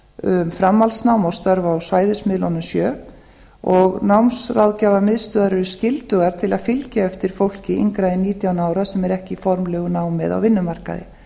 um framhaldsnám og störf á svæðismiðlunum sjö og námsráðgjafarmiðstöðvar eru skyldugar til að fylgja eftir fólki yngra en nítján ára sem er ekki í formlegu námi eða á vinnumarkaði